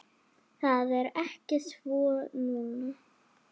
Það er ekki svo núna.